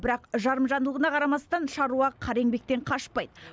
бірақ жарымжандылығына қарамастан шаруа қара еңбектен қашпайды